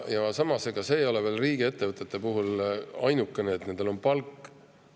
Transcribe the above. Samas, ega riigiettevõtete puhul ei ole neil palk.